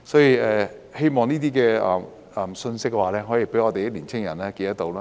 我希望這些信息可以讓我們的年輕人記着。